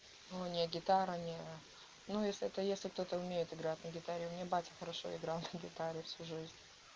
ну у неё гитара не ну если это если кто-то умеет играть на гитаре у меня батя хорошо играл на гитаре всю жизнь